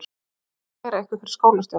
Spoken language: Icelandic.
Ég ætla að kæra ykkur fyrir skólastjóra.